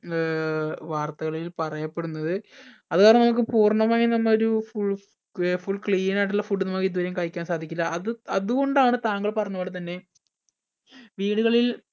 ഏർ വാർത്തകളിൽ പറയപ്പെടുന്നത് അത് കാരണം നമ്മക്ക് പൂർണ്ണമായും നമ്മ ഒരു full ഏർ full clean ആയിട്ടുള്ള food ന്നു ഇതുവരെയും കഴിക്കാൻ സാധിക്കില്ല അത് അത് കൊണ്ടാണ് താങ്കൾ പറഞ്ഞപോലെ തന്നെ വീടുകളിൽ